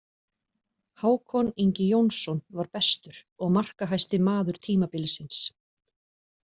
Hákon Ingi Jónsson var bestur og markahæsti maður tímabilsins.